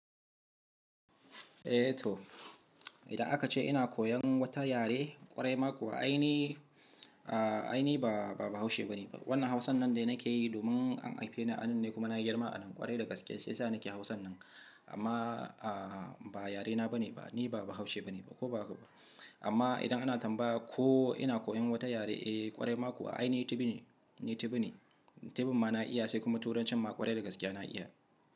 Eh to, idan aka ce ina koyan wata yare ƙwarai ma kuwa aini, ainihi ba, ba haushe ba ne ba. Wannan hausan nan dai nake yi domin an aife ni a nan ne kuma na girma a nan ƙwarai da gaske, sai sa nake hausan nan. Amma ba yare na ba ne ba, ni ba haushe ba ne ba ko bahaka ba. Amma idan ana tambaya ko ina koyan wata yare, eh ƙwarai ma kuwa ainihi tibin ne, tibin ne. Tibin ma na iya sai kuma turancin ma ƙwarai da gaske na iya.